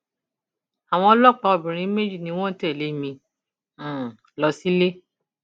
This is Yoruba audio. àwọn ọlọpàá obìnrin méjì ni wọn tẹlé mi um lọ sílé